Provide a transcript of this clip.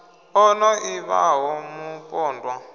o no ḓi vhaho mupondwa